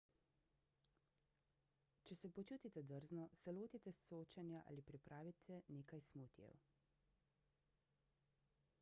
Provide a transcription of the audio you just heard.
če se počutite drzno se lotite sočenja ali pripravite nekaj smutijev